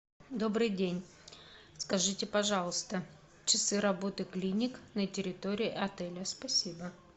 добрый день скажите пожалуйста часы работы клиник на территории отеля спасибо